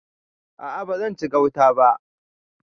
A'a ba zan ci gautan ba.